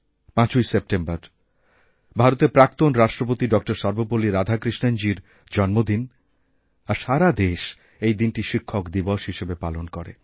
৫ইসেপ্টেম্বর ভারতের প্রাক্তণ রাষ্ট্রপতি ড সর্বপল্লী রাধাকৃষ্ণণজীর জন্মদিন আরসারা দেশ এই দিনটি শিক্ষক দিবস হিসাবে পালন করে